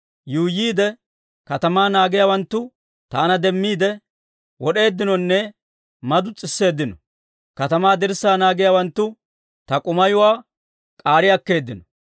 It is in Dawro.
Yuuyyiide katamaa naagiyaawanttu taana demmiide, wad'd'eeddinonne madutseeddino; katamaa dirssaa naagiyaawanttu ta k'umayuwaa k'aari akkeeddino.